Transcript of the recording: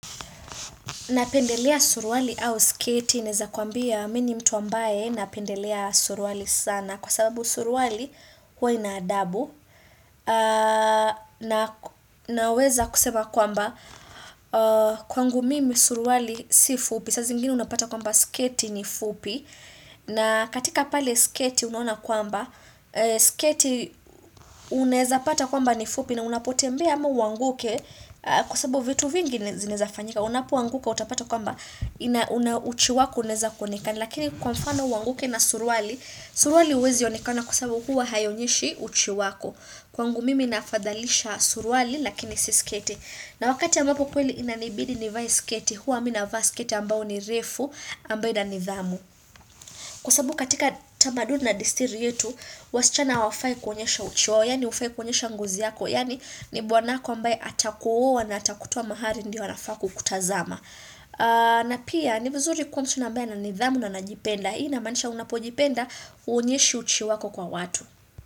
Napendelea suruali au sketi naweza kwambia mimi ni mtu ambaye napendelea suruali sana kwa sababu suruali huwa ina adabu naweza kusema kwamba kwangu mimi suruali si fupi saa zingine unapata kwamba sketi ni fupi na katika pale sketi unaona kwamba sketi unaweza pata kwamba ni fupi na unapo tembea ama uanguke kwasababu vitu vingi zinaweza fanyika unapo anguka utapata kwamba uchi wako unaweza kuonekana lakini kwa mfano uanguke na suruali suruali huwezi onekana kwasababu huwa haionyeshi uchi wako kwa mimi nahafadhalisha suruali lakini siyo sketi na wakati ambapo kweli inanibidi ni vae sketi huwa mimi navaa sketi ambayo ni refu ambayo ina nidhamu kwasababu katika tamaduni na desturi yetu wasichana hawafai kuonyesha uchi wao yani huafai kuonyesha ngozi yako yani ni bwana wako ambaye atakuoa na atakutoa mahali ndiyo anafaa kukutazama na pia ni vizuri kuwa msichana ambaye ana nidhamu na anajipenda Hii ina maanisha unapojipenda huonyeshi uchi wako kwa watu.